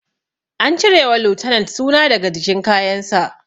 An cire wa lieutenant suna daga jikin kayan sa